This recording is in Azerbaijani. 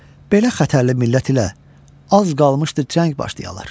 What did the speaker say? Belə xətərli millət ilə az qalmışdı cəng başlayalar.